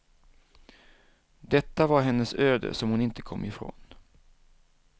Detta var hennes öde som hon inte kom ifrån.